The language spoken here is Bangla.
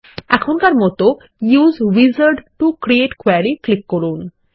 এখনকার মত use wizard to create query click করুন